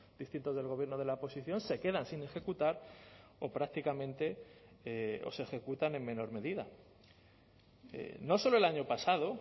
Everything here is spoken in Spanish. distintos del gobierno de la oposición se quedan sin ejecutar o prácticamente o se ejecutan en menor medida no solo el año pasado